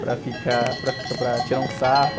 Para ficar, para ficar, para tirar um sarro...